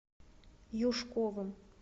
юшковым